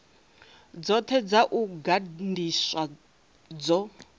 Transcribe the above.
dzothe dza u gandiswa dzo